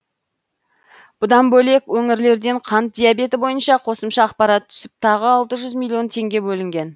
бұдан бөлек өңірлерден қант диабеті бойынша қосымша ақпарат түсіп тағы алты жүз миллион теңге бөлінген